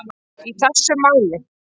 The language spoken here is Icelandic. í þessu máli.